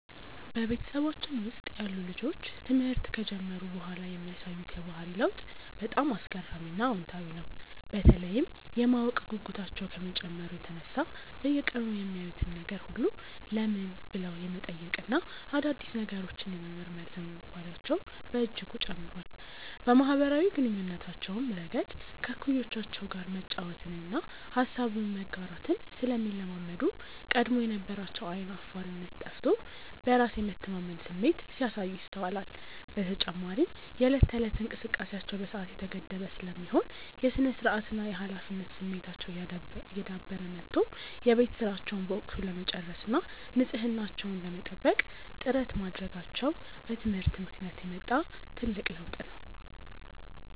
በቤተሰባችን ውስጥ ያሉ ልጆች ትምህርት ከጀመሩ በኋላ የሚያሳዩት የባህሪ ለውጥ በጣም አስገራሚና አዎንታዊ ነው፤ በተለይም የማወቅ ጉጉታቸው ከመጨመሩ የተነሳ በየቀኑ የሚያዩትን ነገር ሁሉ "ለምን?" ብለው የመጠየቅና አዳዲስ ነገሮችን የመመርመር ዝንባሌያቸው በእጅጉ ጨምሯል። በማኅበራዊ ግንኙነታቸውም ረገድ ከእኩዮቻቸው ጋር መጫወትንና ሐሳብን መጋራትን ስለሚለማመዱ፣ ቀድሞ የነበራቸው ዓይን አፋርነት ጠፍቶ በራስ የመተማመን ስሜት ሲያሳዩ ይስተዋላል። በተጨማሪም የዕለት ተዕለት እንቅስቃሴያቸው በሰዓት የተገደበ ስለሚሆን፣ የሥነ-ስርዓትና የኃላፊነት ስሜታቸው እየዳበረ መጥቶ የቤት ሥራቸውን በወቅቱ ለመጨረስና ንጽሕናቸውን ለመጠበቅ ጥረት ማድረጋቸው በትምህርት ምክንያት የመጣ ትልቅ ለውጥ ነው።